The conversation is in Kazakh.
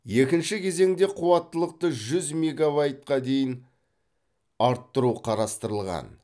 екінші кезеңде қуаттылықты жүз меговайтқа дейін арттыру қарастырылған